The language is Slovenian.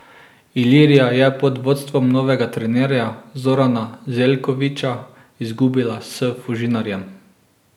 Ilirija je pod vodstvom novega trenerja Zorana Zeljkovića izgubila s Fužinarjem.